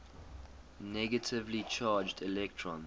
negatively charged electrons